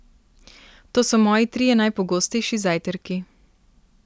To so moji trije najpogostejši zajtrki.